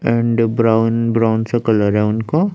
And brown brown सा colour है उनका।